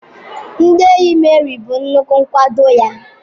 Ndị enyi Meri bụ nnukwu nkwado ya.